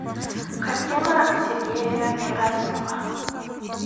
картина сергея герасимова